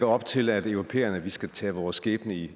op til at vi europæere skal tage vores skæbne i